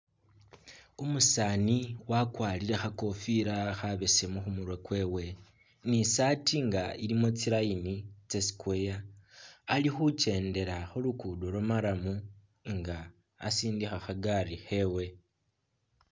Umusaani wakwarire kha kofila khabesemu khu murwe kwewe ni i'saati nga ilimu tsiline tsa Square ali khukendela khu luguudo lwa marram nga asindikha kha gari khewe.